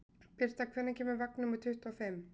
Birta, hvenær kemur vagn númer tuttugu og fimm?